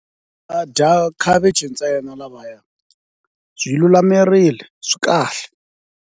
Va dya khavichi ntsena lavaya byi lulamerile swi kahle.